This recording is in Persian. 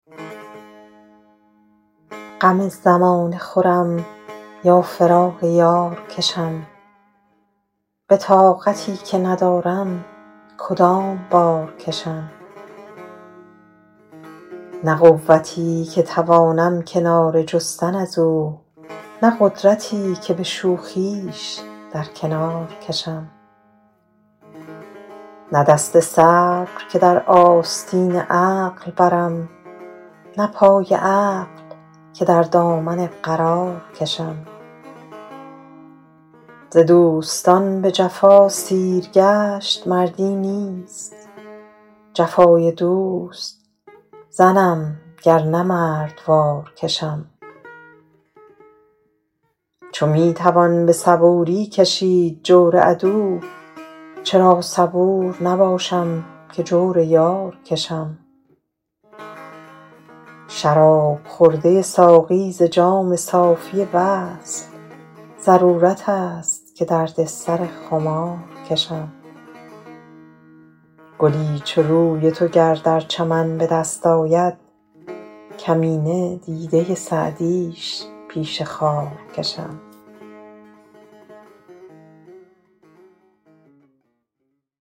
غم زمانه خورم یا فراق یار کشم به طاقتی که ندارم کدام بار کشم نه قوتی که توانم کناره جستن از او نه قدرتی که به شوخیش در کنار کشم نه دست صبر که در آستین عقل برم نه پای عقل که در دامن قرار کشم ز دوستان به جفا سیرگشت مردی نیست جفای دوست زنم گر نه مردوار کشم چو می توان به صبوری کشید جور عدو چرا صبور نباشم که جور یار کشم شراب خورده ساقی ز جام صافی وصل ضرورت است که درد سر خمار کشم گلی چو روی تو گر در چمن به دست آید کمینه دیده سعدیش پیش خار کشم